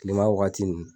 Kilema wagati nun